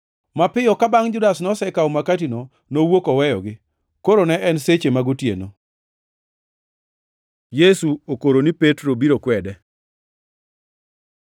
Mapiyo bangʼ ka Judas nosekawo makatino, nowuok oweyogi. Koro ne en seche mag otieno. Yesu okoro ni Petro biro kwede